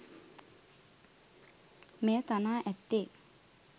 මෙය තනා ඇත්තේ